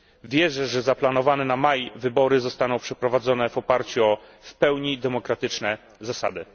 Wierzę, że zaplanowane na maj wybory zostaną przeprowadzone w oparciu o wpełni demokratyczne zasady.